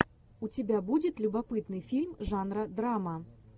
у тебя будет любопытный фильм жанра драма